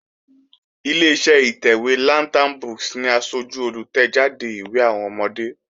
Ileṣẹ́ ìtẹ̀wé Lantern books ni asájú olùtẹ̀jáde ìwé àwọn ọmọdé